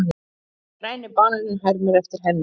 Græni bananinn hermir eftir henni.